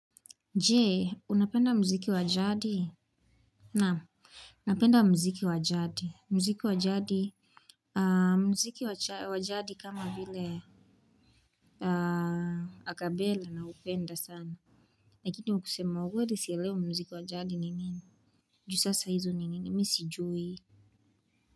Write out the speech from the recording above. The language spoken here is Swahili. Je! Unapenda mziki wa jadi? Naam napenda mziki wa jadi, mziki wa jadi kama vile akabela naupenda sana, lakini kusema ukweli sielewi mziki wa jadi ni nini. Juu sasa hizo ni nini mimi sijui.